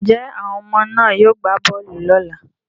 Njẹ́ àwọn ọmọ náà yóò gbá bọọlù lọ́ la?